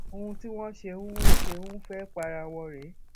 ohun tí wọn ṣe ń ṣe ń fẹẹ para wọn rèé